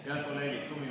Head kolleegid!